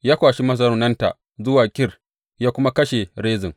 Ya kwashi mazaunanta zuwa Kir, ya kuma kashe Rezin.